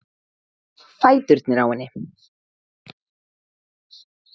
Fæturnir á henni.